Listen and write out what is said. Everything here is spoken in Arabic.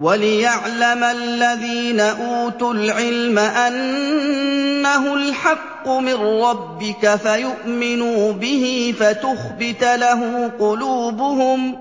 وَلِيَعْلَمَ الَّذِينَ أُوتُوا الْعِلْمَ أَنَّهُ الْحَقُّ مِن رَّبِّكَ فَيُؤْمِنُوا بِهِ فَتُخْبِتَ لَهُ قُلُوبُهُمْ ۗ